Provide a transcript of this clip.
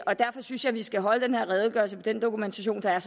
og derfor synes jeg vi skal holde den her redegørelse med den dokumentation der er